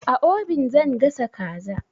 A obin zan gasa kaza.